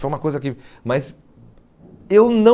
só uma coisa que mas eu não